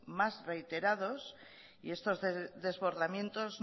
más reiterados y estos desbordamientos